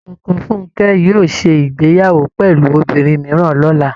Ọkọ Funkẹ́ yóò ṣé ìgbéyàwó pẹ̀lú obìnrin mìíràn lọ́la